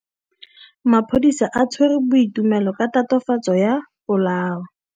Maphodisa a tshwere Boipelo ka tatofatsô ya polaô.